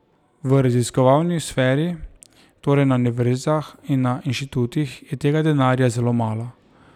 V raziskovalni sferi, torej na univerzah in na inštitutih, je tega denarja zelo malo.